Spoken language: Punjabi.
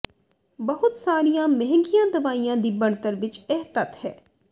ਬਹੁਤ ਸਾਰੀਆਂ ਮਹਿੰਗੀਆਂ ਦਵਾਈਆਂ ਦੀ ਬਣਤਰ ਵਿੱਚ ਇਹ ਤੱਤ ਹੈ